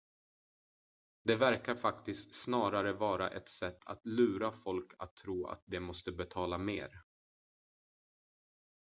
det verkar faktiskt snarare vara ett sätt att lura folk att tro att de måste betala mer